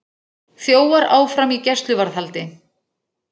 Þjófar áfram í gæsluvarðhaldi